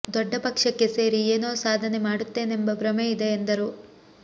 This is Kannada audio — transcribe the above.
ದೊಡ್ಡ ಪಕ್ಷಕ್ಕೆ ಸೇರಿ ಏನೋ ಸಾಧನೆ ಮಾಡುತ್ತೇನೆಂಬ ಭ್ರಮೆ ಇದೆ ಎಂದರು